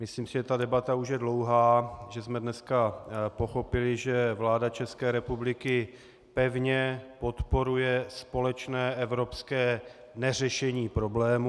Myslím si, že ta debata už je dlouhá, že jsme dneska pochopili, že vláda České republiky pevně podporuje společné evropské neřešení problému.